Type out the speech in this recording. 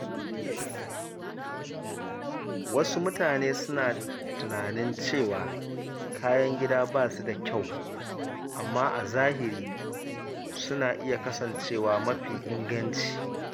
Wasu mutane suna tunanin cewa kayan gida ba su da kyau, amma a zahiri suna iya kasancewa mafi inganci.